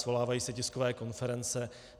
Svolávají se tiskové konference.